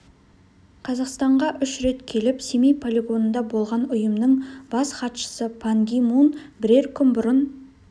қазақстанға үш рет келіп семей полигонында болған ұйымның бас хатшысы пан ги мун бірер күн бұрын